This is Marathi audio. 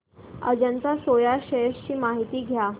अजंता सोया शेअर्स ची माहिती द्या